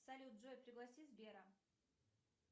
салют джой пригласи сбера